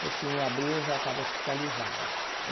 Porque em abril eu já estava hospitalizada.